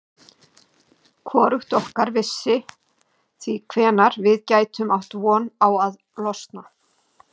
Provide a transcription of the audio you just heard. Hvorugt okkar vissi því hvenær við gætum átt von á að losna.